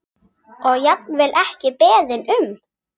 Og jafnvel ekki beðinn um.